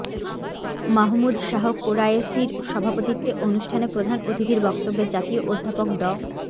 মাহমুদ শাহ কোরায়েশীর সভাপতিত্বে অনুষ্ঠানে প্রধান অতিথির বক্তব্যে জাতীয় অধ্যাপক ড